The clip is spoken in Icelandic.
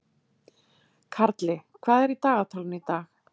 Karli, hvað er í dagatalinu í dag?